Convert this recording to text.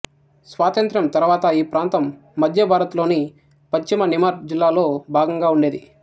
స్వాతంత్ర్యం తరువాత ఈ ప్రాంతం ముద్యభారత్ లోని పశ్చిమ నిమర్ జిల్లాలో భాగంగా ఉండేది